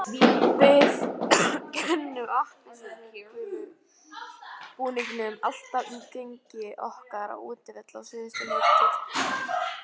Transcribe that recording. Við kennum appelsínugula búningnum alltaf um gengi okkar á útivelli á síðustu leiktíð.